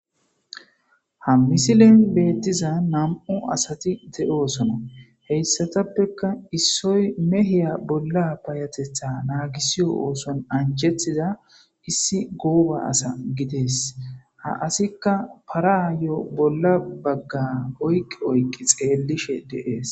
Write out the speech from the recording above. Ha misilen beettiza nam'u asati de'oosona heyssatappeka issoy mehiya bolla bayatetha naagisiyo ooson anjetiza issi gooba asa gidees ha asikka paraayo bolla bagga oyqqi oyqi xeellishe deees.